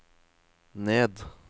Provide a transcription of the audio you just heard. ned